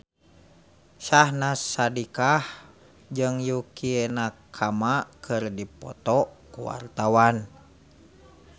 Syahnaz Sadiqah jeung Yukie Nakama keur dipoto ku wartawan